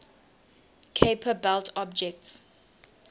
kuiper belt objects